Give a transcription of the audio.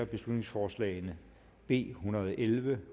beslutningsforslag nummer b en hundrede og elleve